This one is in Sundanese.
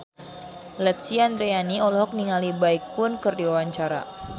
Lesti Andryani olohok ningali Baekhyun keur diwawancara